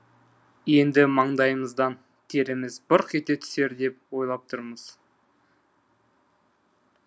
енді маңдайымыздан теріміз бұрқ ете түсер деп ойлап тұрмыз